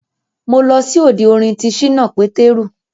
Mo lọ sí òde orin ti ṣínà Pétérù